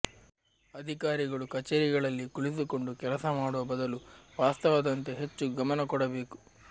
ಅಧಿಕಾರಿಗಳು ಕಚೇರಿಗಳಲ್ಲಿ ಕುಳಿತುಕೊಂಡು ಕೆಲಸ ಮಾಡುವ ಬದಲು ವಾಸ್ತವದಂತೆ ಹೆಚ್ಚು ಗಮನಕೊಡಬೇಕು